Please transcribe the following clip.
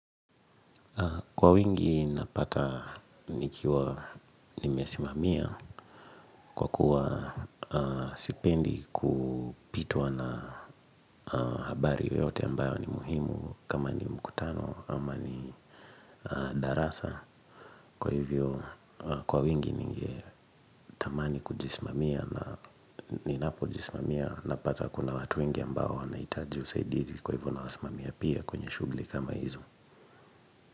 Kwa wingi napata nikiwa nimesimamia kwa kuwa sipendi kupitwa na habari yoyote ambayo ni muhimu kama ni mkutano ama ni darasa. Kwa hivyo kwa wingi ningetamani kujisimamia na ninapo jisimamia na pata kuna watu wengi ambao wanahitaji usaidizi kwa hivyo na wasimamia pia kwenye shughuli kama hizo.